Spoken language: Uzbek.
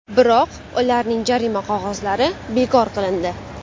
Biroq ularning jarima qog‘ozlari bekor qilindi.